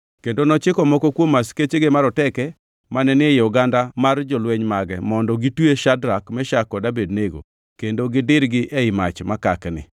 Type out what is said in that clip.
kendo nochiko moko kuom askechege maroteke mane ni e oganda mar jolweny mage mondo gitwe Shadrak, Meshak kod Abednego kendo gidirgi ei mach makakni.